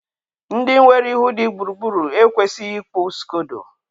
ndị nwere ihu dị gburugburu ekwesịghị ịkpụ skodo.